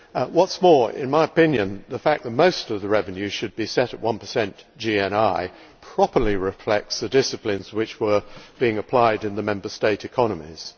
What is more, in my opinion, the fact that most of the revenue should be set at 1 GNI properly reflects the disciplines which were being applied in the Member State economies.